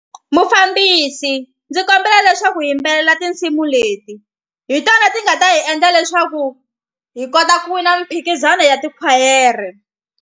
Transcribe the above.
Mufambisi ndzi kombela leswaku hi yimbelela tinsimu leti hi tona ti nga ta hi endla leswaku hi kota ku wina miphikizano ya tikhwayere.